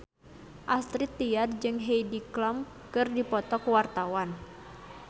Astrid Tiar jeung Heidi Klum keur dipoto ku wartawan